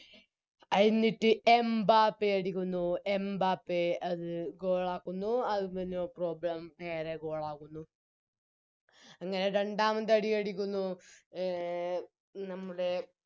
ആയിന്നിറ്റ് Mbappe അടിക്കുന്നു Mbappe അത് Goal ആക്കുന്നു അതിന് No problem നേരെ Goal ആകുന്നു അങ്ങനെ രണ്ടാമതടിയടിക്കുന്നു എ നമ്മുടെ